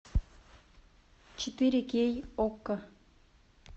четыре кей окко